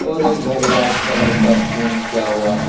और ये घर व्हाइट कलर का पेंट किया हुआ हुआ है।